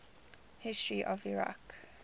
history of iraq